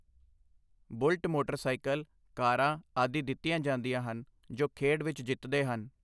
bullet motorcycle, ਕਾਰਾਂ ਆਦਿ ਦਿੱਤੀਆਂ ਜਾਂਦੀਆਂ ਹਨ ਜੋ ਖੇਡ ਵਿਚ ਜਿੱਤਦੇ ਹਨ